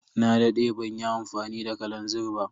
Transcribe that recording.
Na dade banyi amfani da kalanzir ba.